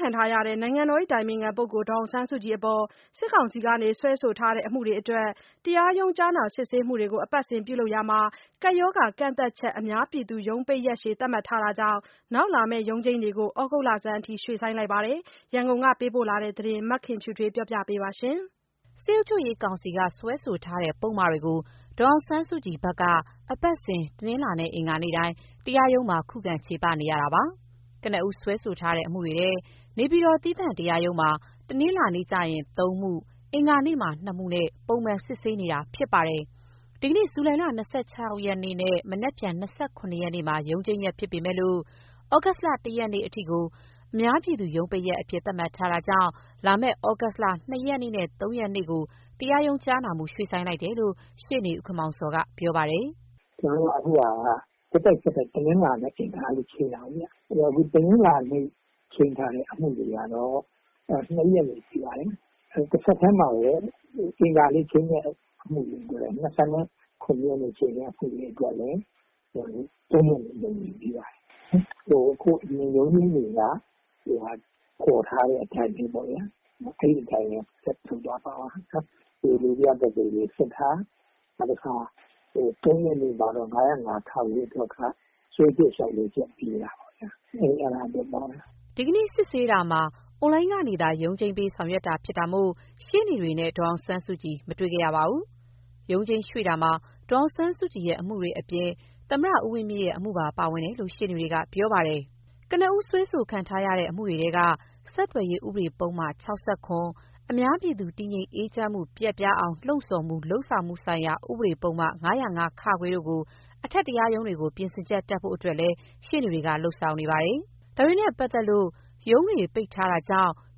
ခံထားရတဲ့ နိုင်ငံတော်အတိုင်ပင်ခံပုဂ္ဂိုလ် ဒေါ်အောင်ဆန်းစုကြည်အပေါ် စစ်ကောင်စီက စွဲဆိုထားတဲ့ အမှုတွေအတွက် တရားရုံးကြားနာစစ်ဆေးမှုတွေကို အပတ်စဉ်ပြုလုပ်နေရာမှာ၊ ကပ်ရောဂါကန့်သတ်ချက်အများပြည်သူရုံးပိတ်ရက်ရှည် သတ်မှတ်ထားတာကြောင့် နောက်လာမယ့်ရုံးချိန်းတွေကိုတော့ ဩဂုတ်လဆန်းအထိ ရွှေ့ဆိုင်းလိုက်ပါတယ်။ ရန်ကုန်က ပေးပို့ထားတဲ့သတင်းကို မခင်ဖြူထွေးပြောပြမှာပါ။ စစ်အုပ်ချုပ်ရေးကောင်စီဖက်က စွဲဆိုထားတဲ့ပုဒ်မတွေကို ဒေါ်အောင်ဆန်းစုကြည်ဖက်က အပတ်စဉ် တနင်္လာ အင်္ဂါနေ့တိုင်း တရားရုံးမှာ ခုခံချေပနေရတာပါ။ ကနဦးစွဲဆိုထားတဲ့ အမှုတွေထဲ နေပြည်တော် သီးသန့်တရားရုံးမှာ တနင်္လာနေ့ကျရင် ၃မှု၊ အင်္ဂါနေ့မှာ ၂မှုနဲ့ ပုံမှန်စစ်ဆေးနေခဲ့တာဖြစ်ပါတယ်။ ဒီကနေ့ ဇူလိုင် ၂၆ နဲ့ မနက်ဖြန် ၂၇မှာ ရုံးချိန်းရက်ဖြစ်ပေမဲ့ သြဂုတ် ၁ ရက်နေ့အထိကို အများပြည်သူ ရုံးပိတ်ရက်အဖြစ်သတ်မှတ်ထားတာကြောင့် လာမယ့် သြဂုတ် ၂ရက်နေ့ နဲ့ ၃ရက်နေ့ကို တရားရုံးကြားနာမှု ရွှေ့ဆိုင်းလိုက်တယ်လို့ ရှေ့နေဦးခင်မောင်ဇော် ကပြောပါတယ်။ “ကျနော်တို့က အခုဟာက ဆက်တိုက် ဆက်တိုက် တနင်္လာ၊ အင်္ဂါချိန်းတာကိုဗျ။ တနင်္လာနေ့ချိန်းထားတဲ့ အမှုတွေကတော့ ၂ရက်နေ့ပေးပါတယ်။ တဆက်တည်းမှာဘဲ အင်္ဂါနေ့ချိန်းတဲ့ အမှုတွေအတွက် ၂၇ရက်ချိန်းတာအတွက်လည်း ၃ရက်နေ့ကို ရုံးချိန်းပြန်ပေးပါတယ်။ ဒီရုံးချိန်းတွေက ခေါ်ထားတဲ့ အတိုင်းဘဲ။ အဲအတိုင်းဘဲဆက်သွားမှာပါ။ တရားလိုပြသက်သေတွေစစ်တာ။ ၃ရက်နေ့မှာ တော့ ၅၀၅-ခ အတွက်က စွဲချက်လျှောက်လဲချက်ပေးတာအဲဒါအတွက်ပါဘဲ။” ဒီကနေ့စစ်ဆေးတာမှာ အွန်လိုင်းကနေသာရုံးချိန်းပေးဆောင်ရွက်တာဖြစ်တာမို့ ရှေ့နေတွေနဲ့ ဒေါ်အောင်ဆန်းစုကြည်တို့မတွေ့ခဲ့ရပါဘူး။ ရုံးချိန်းရွှေ့တာမှာ ဒေါ်အောင်ဆန်းစုကြည်အမှုတွေ အပြင် ဦးဝင်းမြင့်အမှုပါပါဝင်တယ်လို့ ရှေ့နေတွေကပြောပါတယ်။ ကနဦးတရားစွဲခံထားရတဲ့ အမှုတွေထဲက ဆက်သွယ်ရေး ဥပဒေ ပုဒ်မ ၆၇ ၊ အများပြည်သူ တည်ငြိမ်အေးချမ်းမှု ပျက်ပြားအောင်လှုံဆော်မှု လုပ်ဆောင်မှုဆိုင်ရာ ဥပဒေပုဒ်မ ၅၀၅(ခ)တို့ကို အထက်တရားရုံးတွေကို ပြင်ဆင်ချက်တက်ဖို့ အတွက်လည်းရှေ့နေတွေကလုပ်ဆောင်နေပါတယ်။ ဒါတွေနဲ့ပတ်သတ်လို့ ရုံးတွေပိတ်ထားတာမို့